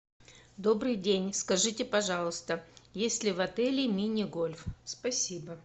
добрый день скажите пожалуйста есть ли в отеле мини гольф спасибо